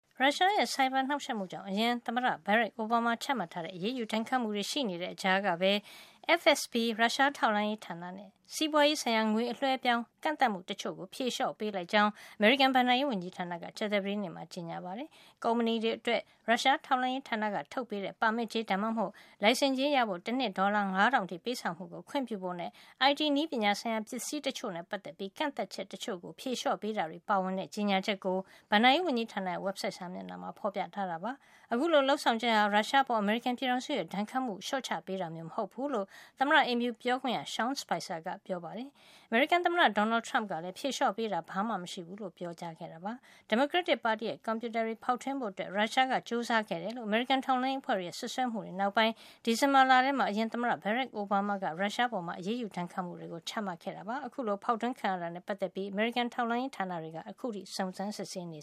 ရုရှားရဲ့ ဆိုင်ဘာနှောက်ယှက်မှုကြောင့် အရင် သမ္မတ Barack Obama ချမှတ်ထားတဲ့ အရေးယူဒဏ်ခတ်မှုတွေ ရှိနေတဲ့ ကြားကပဲ FSB ရုရှားထောက်လှန်းရေးဌာနနဲ့ စီးပွါးရေးဆိုင်ရာ ငွေအလွှဲအပြောင်း ကန့်သတ်မှုတချို့ကို ဖြေလျှော့ ပေးလိုက်ကြောင်း အမေရိကန် ဘဏ္ဍာရေး ဝန်ကြီးဌာနက ကြာသပတေးနေ့မှာ ကြေညာချက် ထုတ်ပြန်ပါတယ်။ ကုမ္ပဏီတွေအတွက် ရုရှားထောက်လှန်းရေး ဌာနကထုတ်ပေးတဲ့ ပါမစ်ကြေး ဒါမှမဟုတ် လိုင်စင်ကြေးရဖို့ တနှစ် ဒေါ်လာ ၅၀၀၀ အထိ ပေးဆောင်မှုကို ခွင့်ပြုဖို့နဲ့ IT နည်းပညာဆိုင်ရာ ပစ္စည်းတချို့နဲ့ ပတ်သက်ပြီး ကန့်သတ်ချက် တချို့ကို ဖြေလျှော့ပေးတာတွေ ပါဝင်တဲ့ ကြေညာချက်ကို ဘဏ္ဍာရေး ဝန်ကြီးဌာနရဲ့ ဝက်ဘ်ဆိုက်စာမျက်နှာမှာ ဖေါ်ပြထားပါတယ်။ အခုလို လုပ်ဆောင်ချက်ဟာ ရုရှားအပေါ် အမေရိကန် ပြည်ထောင်စုရဲ့ ဒဏ်ခတ်မှုကို လျှော့ချပေးတာမျိုး မဟုတ်ဖူးလို့ သမ္မတအိမ်ဖြူ ပြောခွင့်ရ Sean Spicer ကပြောပါတယ်။ အမေရိကန်သမ္မတ Donald Trump ကလည်း ဖြေလျှော့ပေးတာ ဘာမှ မရှိဘူးလို့ ပြောကြားခဲ့တာပါ။ ဒီမိုကရက်တစ်ပါတီရဲ့ ကွန်ပြူတာ တွေကို ဖေါက်ထွင်းဖို့ ရုရှားက ကြိုးစားခဲ့တယ်လို့ အမေရိကန် ထောက်လှန်းရေး အဖွဲ့တွေရဲ့ စွပ်စွဲမှုတွေ နောက်ပိုင်း ဒီဇင်ဘာလထဲမှာ အရင်သမ္မတ Barack Obama က ရုရှားအပေါ် အရေးယူဒဏ်ခတ်မှုတွေ ချမှတ်ခဲ့တာ ဖြစ်ပါတယ်။ အခုလို အဖေါက်ထွင်းခံရ တာနဲ့ပတ်သက်ပြီး အမေရိကန် ထောက်လှန်းရေးဌာနတွေက အခုထိ စုံစမ်းစစ်ဆေးနေ